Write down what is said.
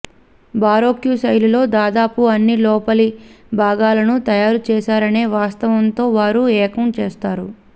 baroque శైలిలో దాదాపు అన్ని లోపలి భాగాలను తయారు చేశారనే వాస్తవంతో వారు ఏకం చేస్తారు